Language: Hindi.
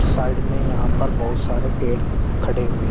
साइड में यहां पर बहुत सारे पेड़ खड़े हुए--